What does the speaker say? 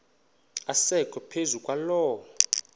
asekwe phezu kwaloo